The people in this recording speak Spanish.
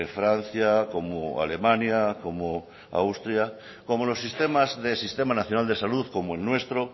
francia como alemania como austria como los sistemas de sistema nacional de salud como el nuestro